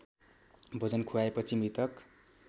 भोजन खुवाएपछि मृतक